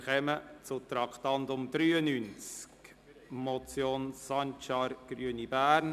Wir kommen zum Traktandum 93, der Motion Sancar, Grüne, Bern: